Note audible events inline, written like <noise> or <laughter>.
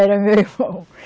Era meu irmão. <laughs>